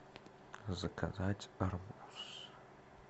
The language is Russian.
заказать арбуз